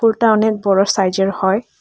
এটা অনেক বড় সাইজের হয়।